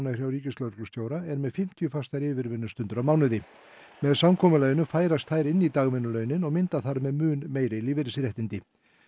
hjá ríkislögreglustjóra eru með fimmtíu fastar yfirvinnustundir á mánuði með samkomulaginu færast þær inn í dagvinnulaunin og mynda þar með mun meiri lífeyrisréttindi